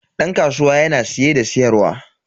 Dan kasuwa yana siye da siyarwa.